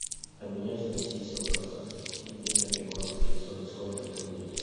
обменять в россии сто казахских тенге на перуанские соли сколько это будет